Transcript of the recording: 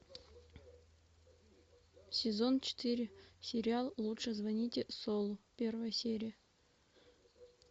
сезон четыре сериал лучше звоните солу первая серия